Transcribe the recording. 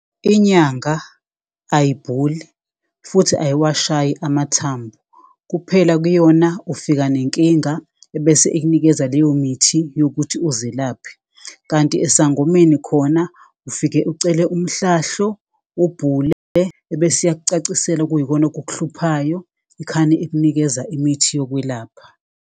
Inyanga ayibhuli futhi ayiwashayi amathambo. Kuphela kuyona ufika nenkinga ebese ikunikeza leyo mithi yokuthi uzilaphe. Kanti esangomeni khona ufike ucele umhlahlo, ubhule ebese iyakucacisela okuyikona okukuhluphayo. Ikhane ikunikeza imithi yokwelapha.